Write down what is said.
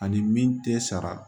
Ani min tɛ sara